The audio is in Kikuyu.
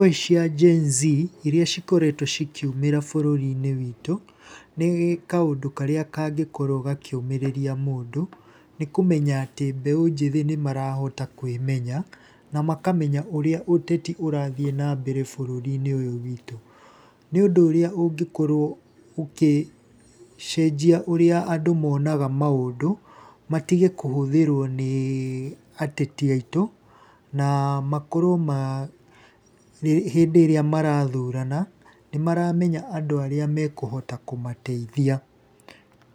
Ngũĩ cia Gen-Z iria cikoretwo cikiumĩra bũrũri-inĩ witũ, nĩ kaũndũ karĩa kangĩkorwo gakiũmĩrĩria mũndũ, nĩkũmenya atĩ mbeũ njĩthĩ nĩ marahota kwĩmenya, na makamenya ũrĩa ũteti ũrathiĩ na mbere bũrũri-inĩ ũyũ witũ. Nĩ ũndũ ũrĩa ũngĩkorwo ugĩcenjia ũrĩa andũ monaga maũndũ matige kũhũthĩrwo nĩ ateti aitũ, na makorwo ma, hĩndĩ ĩrĩa marathurana nĩ maramenya andũ arĩa mekũhota kũmateithia.